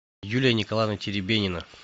юлия николаевна теребенина